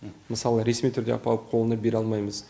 мысалы ресми түрде апарып қолына бере алмаймыз